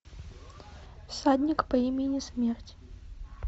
всадник по имени смерть